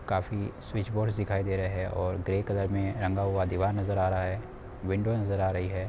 काफि switch boards दिखाई दे रहे हैं। और ग्रे कलर में रंगा हुआ दीवार नजर आ रहा हैं। विंडो नजर आ रही हैं।